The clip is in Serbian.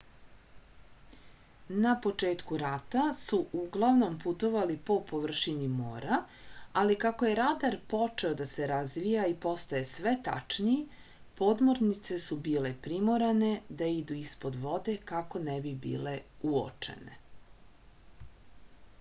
na početku rata su uglavnom putovali po površini mora ali kako je radar počeo da se razvija i postaje sve tačniji podmornice su bile primorane da idu ispod vode kako ne bi bile uočene